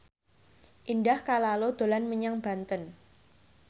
Indah Kalalo dolan menyang Banten